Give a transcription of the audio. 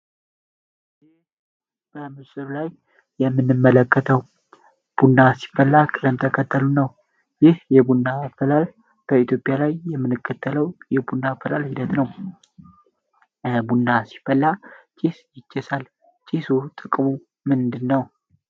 በምስር ላይ የምንመለከተው ቡና ሲፈላ ቅደም ተከተሉ ነው ይህ የቡና ፈላል በኢትዮጵያ ላይ የምንከተለው የቡና ፈላል ሂደት ነውቡና ሲፈላ ቺስ ይችሳል ቺስ ጥቅሙ ምንድ ነው